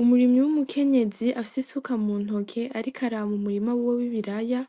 Umurimyi w'umukenyezi afis'isuka mu ntoke arik'araba umurima wiwe w'ibiraya ,